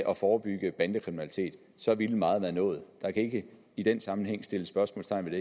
og forebygge bandekriminalitet så ville meget være nået der kan ikke i den sammenhæng sættes spørgsmålstegn